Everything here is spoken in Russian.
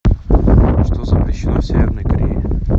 что запрещено в северной корее